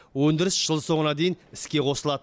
өндіріс жыл соңына дейін іске қосылады